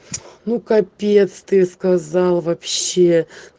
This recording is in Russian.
ну капец ты сказал вообще